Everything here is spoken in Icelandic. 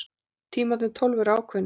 Tímarnir tólf eru ákveðnir.